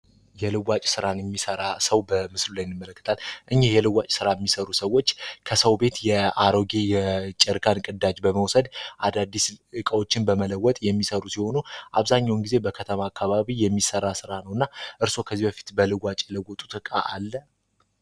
የሚሰራ ሰው በምስል የሚሰሩ ሰዎች ከሰው ቤት የአሮጌ ጨርቃ ቅዳች በመውሰድ አዳዲስን በመለወጥ የሚሰሩ ሲሆኑ አብዛኛውን ጊዜ በከተማ አከባቢ የሚሰራ ስራ ነውና